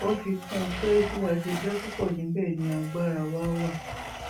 ó fi kún un pé bí a ṣe jẹ púpọ níbẹ ni agbára wa wà